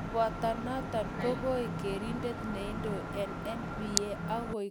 Koboto noto ko kiek kerindet neindoi eng NBA akoek kobelindet eng Olympics konyil oeng